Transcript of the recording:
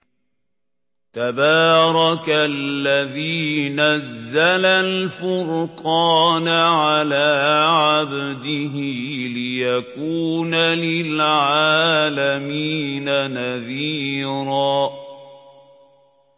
تَبَارَكَ الَّذِي نَزَّلَ الْفُرْقَانَ عَلَىٰ عَبْدِهِ لِيَكُونَ لِلْعَالَمِينَ نَذِيرًا